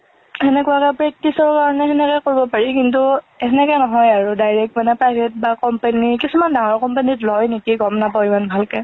সেনেকুৱা practice ৰ কাৰণে খেনেকে কৰিব পাৰি, কিন্তু খেনেকে নহয় আৰু direct মানে private বা company। কিছুমান ডাঙৰ company ত লয় নেকি, গম নাপাও ইমান ভালকে।